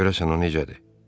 Görəsən o necədir?